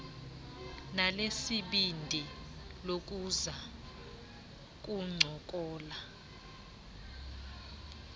lanesibindi lokuza kuncokola